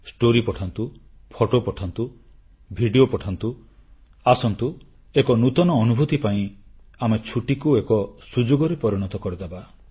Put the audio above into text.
କାହାଣୀ ପଠାନ୍ତୁ ଫଟୋ ପଠାନ୍ତୁ ଭିଡିଓ ପଠାନ୍ତୁ ଆସନ୍ତୁ ଏକ ନୂତନ ଅନୁଭୂତି ପାଇଁ ଆମେ ଛୁଟିକୁ ଏକ ସୁଯୋଗରେ ପରିଣତ କରିଦେବା